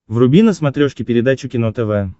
вруби на смотрешке передачу кино тв